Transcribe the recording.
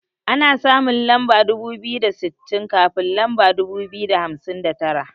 Ana samun lamba dubu biyu da sittin kafin lamba dubu biyu da hamsin da tara.